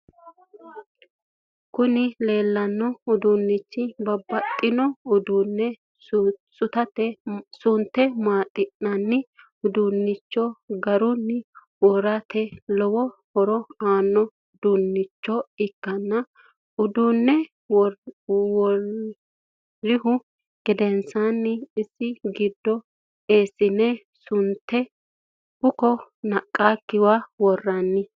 Kuni leellanno uduunnichi babbaxinno uduunne sunte maaxatenna udunne garunni worate lowo horo aanno udunnicho ikkana uddune worrihu gedensanni isi giddo eessine sunte buko naqqakkiwa worranni.